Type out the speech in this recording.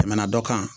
Tɛmɛna dɔ kan